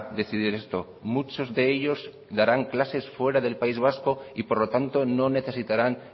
decidir esto muchos de ellos darán clases fuera del país vasco y por lo tanto no necesitaran